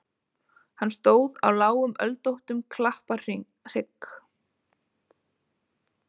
Hann stóð á lágum öldóttum klapparhrygg.